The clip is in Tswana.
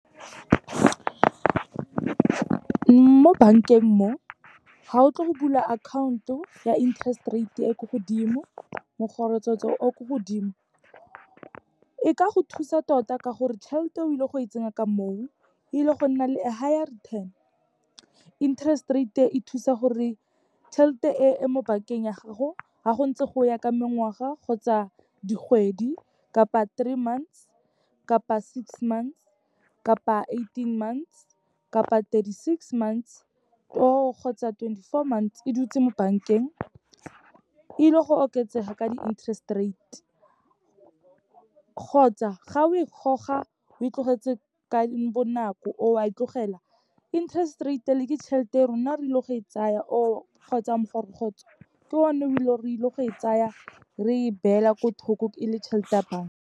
Mo bankeng mo, ha o tlo go bula akhaonto ya interest rate e ko godimo, o ko godimo, e ka go thusa tota ka gore tšhelete o ile go e tsenya ka mo o, ile go nna le a higher return. Interest rate e, e thusa gore tšhelete e e mo bankeng ya gago, ga go ntse go ya ka mengwaga kgotsa dikgwedi kapa three months, kapa six months, kapa eighteen months, kapa thirty-six months or kgotsa twenty-four months, e dutse mo bankeng, ile go oketsega ka di-interest rate. Kgotsa, ga o e goga o e tlogetse ka bonako, or wa e tlogela, interest rate e le, ke tšhelete ya rona re ile go e tsaya or kgotsa ke one re ile go e tsaya, re e beela ko thoko, e le tšhelete ya banka.